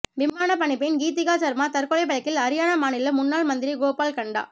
விமான பணிப்பெண் கீதிகா சர்மா தற்கொலை வழக்கில் அரியானா மாநில முன்னாள் மந்திரி கோபால் கண்டா